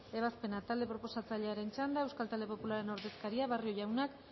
ebazpena talde proposatzailearen txanda euskal talde popularraren ordezkaria barrio jaunak